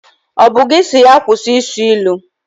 Ọ bụ gị si ya kwụsị ị sụ ilu?